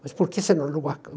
Mas por que você não alugou a